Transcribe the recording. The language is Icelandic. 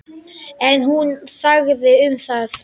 En hún þagði um það.